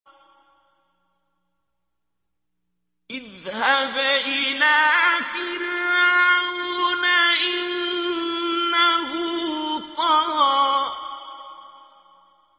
اذْهَبْ إِلَىٰ فِرْعَوْنَ إِنَّهُ طَغَىٰ